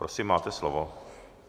Prosím, máte slovo.